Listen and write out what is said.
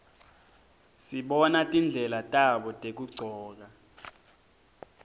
sibona tindlela tabo tekugcoka